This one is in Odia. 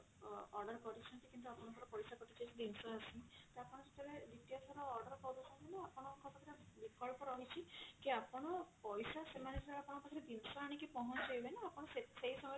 ଅ order କରିଛନ୍ତି କିନ୍ତୁ ଆପଣଙ୍କର ପଇସା କଟିଯାଇଛି ଜିନିଷ ଆସିନି ତ ଆପଣ ସେତେବେଳେ ଦ୍ଵିତୀୟ ଥର order କରୁଛନ୍ତି ନା ଆପଣଙ୍କ ପାଖରେ ବିକଳ୍ପ ରହିଛି କି ଆପଣ ପଇସା ସେମାନେ ଯେତେବେଳେ ଆପଣଙ୍କ ପାଖରେ ଜିନିଷ ଆଣିକି ପହଞ୍ଚେଇବେ ନା ଆପଣ ସେ ସେଇ ସମୟ ରେ